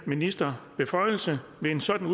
ministerbeføjelse ved en sådan